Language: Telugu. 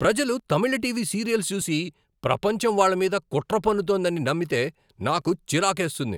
ప్రజలు తమిళ టీవీ సీరియల్స్ చూసి, ప్రపంచం వాళ్ళ మీద కుట్ర పన్నుతోందని నమ్మితే నాకు చిరాకేస్తుంది.